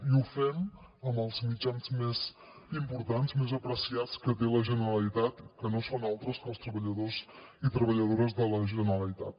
i ho fem amb els mitjans més importants més apreciats que té la generalitat que no són altres que els treballadors i treballadores de la generalitat